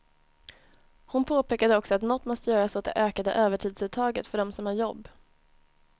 Hon påpekade också att något måste göras åt det ökade övertidsuttaget för dem som har jobb.